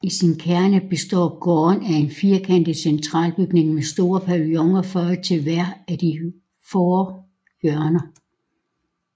I sin kerne består gården af en firkantet centralbygning med store paviloner føjet til hvert af de fore hjørner